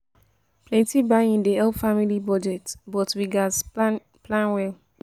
n